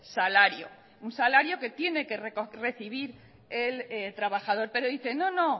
salario un salario que tiene que recibir el trabajador pero dice no no